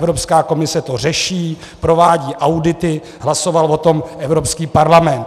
Evropská komise to řeší, provádí audity, hlasoval o tom Evropský parlament.